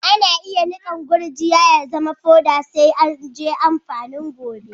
Ana iya nikan gurjiya ya zama poda sai a'ajie doan amfanin gobe.